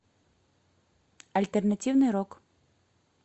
альтернативный рок